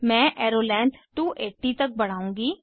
मैं arrow length 280 तक बढ़ाउंगी